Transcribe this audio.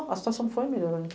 A situação foi melhorando.